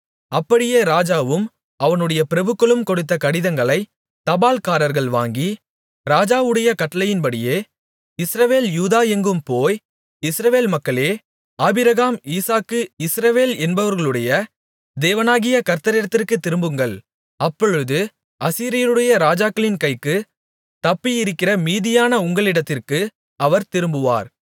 அப்படியே ராஜாவும் அவனுடைய பிரபுக்களும் கொடுத்த கடிதங்களை தபால்காரர்கள் வாங்கி ராஜாவுடைய கட்டளையின்படியே இஸ்ரவேல் யூதா எங்கும் போய் இஸ்ரவேல் மக்களே ஆபிரகாம் ஈசாக்கு இஸ்ரவேல் என்பவர்களுடைய தேவனாகிய கர்த்தரிடத்திற்குத் திரும்புங்கள் அப்பொழுது அசீரியருடைய ராஜாக்களின் கைக்குத் தப்பியிருக்கிற மீதியான உங்களிடத்திற்கு அவர் திரும்புவார்